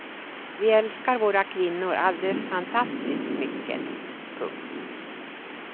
Vi älskar våra kvinnor alldeles fantastiskt mycket. punkt